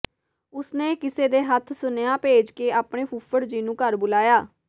ਉਸਨੇ ਕਿਸੇ ਦੇ ਹੱਥ ਸੁਨਿਆਹ ਭੇਜ ਕੇ ਆਪਣੇ ਫੁੱਫੜ ਜੀ ਨੂੰ ਘਰ ਬੁਲਾਇਆ